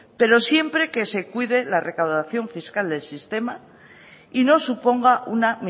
pero siempre que se cuide la recaudación fiscal del sistema y no suponga una